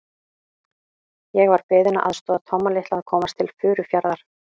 Ég var beðinn að aðstoða Tomma litla að komast til Furufjarðar.